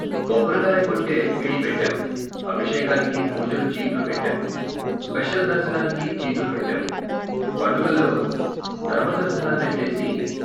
కొబ్బరికాయ కొట్టే పిడీ పెట్టాం, ఆభిషేకానికి, పూజలు చీట్లు పెట్టాం, స్పెషల్ దర్శనానికి చీట్లు పెట్టాం, పండగల్లో ధర్మదర్శనాలేట్టేసి.